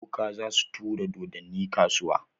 Boka za su turo dodonni kasuwa.